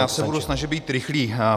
Já se budu snažit být rychlý.